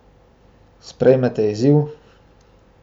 Sprejmete izziv?